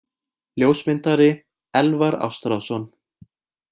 Ljósmyndari: Elvar Ástráðsson.